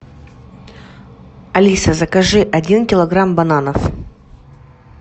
алиса закажи один килограмм бананов